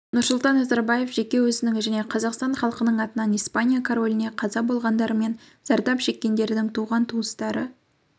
нұрсұлтан назарбаев жеке өзінің және қазақстан халқының атынан испания короліне қаза болғандар мен зардап шеккендердің туған-туыстары